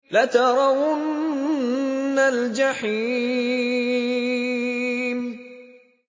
لَتَرَوُنَّ الْجَحِيمَ